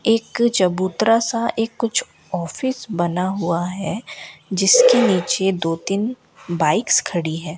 एक चबूतरा सा एक कुछ ऑफिस बना हुआ है जिसके नीचे दो तीन बाइक्स खड़ी हैं।